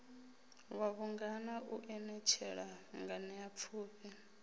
wa vhungana u anetshela nganeapfufhi